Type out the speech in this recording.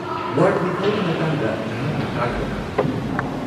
-Ward ꯃꯤꯈꯜꯒꯤ ꯃꯇꯥꯡꯗ ꯅꯍꯥꯛꯅ ꯇꯥꯈ꯭ꯔꯕ꯭ꯔꯥ?